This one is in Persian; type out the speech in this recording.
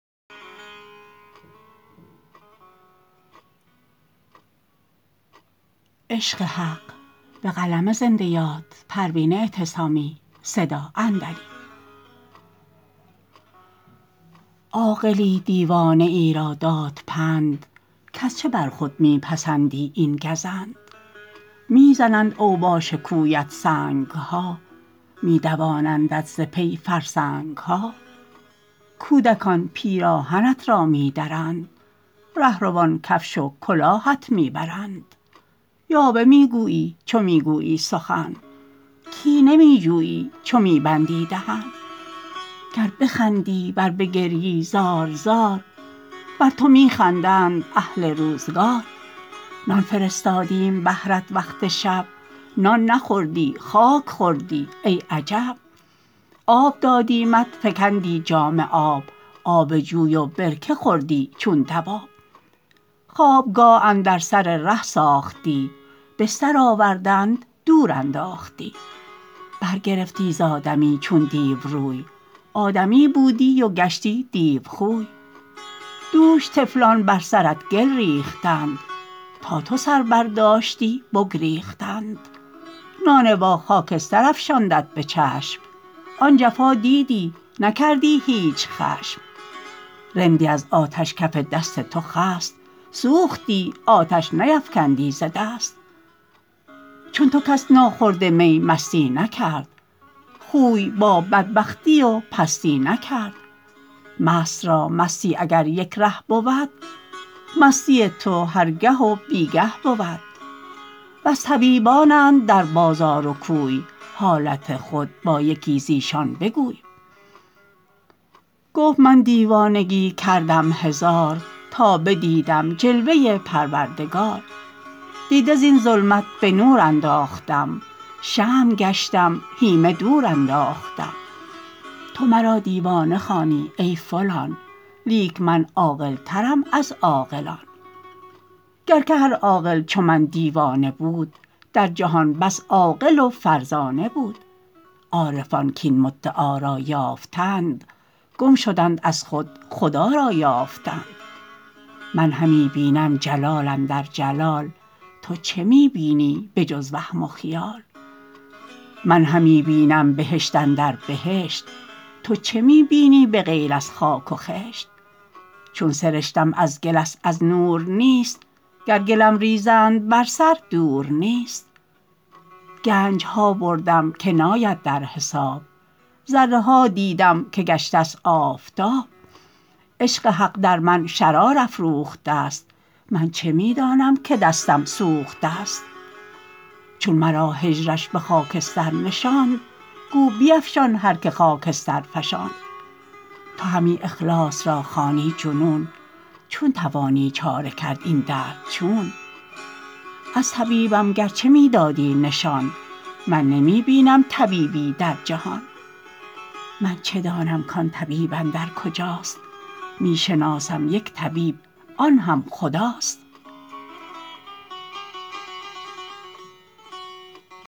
عاقلی دیوانه ای را داد پند کز چه بر خود می پسندی این گزند میزنند اوباش کویت سنگها میدوانندت ز پی فرسنگها کودکان پیراهنت را میدرند رهروان کفش و کلاهت میبرند یاوه میگویی چه میگویی سخن کینه میجویی چو می بندی دهن گر بخندی ور بگریی زار زار بر تو میخندند اهل روزگار نان فرستادیم بهرت وقت شب نان نخوردی خاک خوردی ای عجب آب دادیمت فکندی جام آب آب جوی و برکه خوردی چون دواب خوابگاه اندر سر ره ساختی بستر آوردند دور انداختی برگرفتی زادمی چون دیو روی آدمی بودی و گشتی دیو خوی دوش طفلان بر سرت گل ریختند تا تو سر برداشتی بگریختند نانوا خاکستر افشاندت بچشم آن جفا دیدی نکردی هیچ خشم رندی از آتش کف دست تو خست سوختی آتش نیفکندی ز دست چون تو کس ناخورده می مستی نکرد خوی با بدبختی و پستی نکرد مست را مستی اگر یک ره بود مستی تو هر گه و بیگه بود بس طبیبانند در بازار و کوی حالت خود با یکی زایشان بگوی گفت من دیوانگی کردم هزار تا بدیدم جلوه پروردگار دیده زین ظلمت به نور انداختم شمع گشتم هیمه دور انداختم تو مرا دیوانه خوانی ای فلان لیک من عاقلترم از عاقلان گر که هر عاقل چو من دیوانه بود در جهان بس عاقل و فرزانه بود عارفان کاین مدعا را یافتند گم شدند از خود خدا را یافتند من همی بینم جلال اندر جلال تو چه می بینی به جز وهم و خیال من همی بینم بهشت اندر بهشت تو چه می بینی بغیر از خاک و خشت چون سرشتم از گل است از نور نیست گر گلم ریزند بر سر دور نیست گنجها بردم که ناید در حساب ذره ها دیدم که گشته است آفتاب عشق حق در من شرار افروخته است من چه میدانم که دستم سوخته است چون مرا هجرش بخاکستر نشاند گو بیفشان هر که خاکستر فشاند تو همی اخلاص را خوانی جنون چون توانی چاره کرد این درد چون از طبیبم گرچه می دادی نشان من نمی بینم طبیبی در جهان من چه دانم کان طبیب اندر کجاست میشناسم یک طبیب آنهم خداست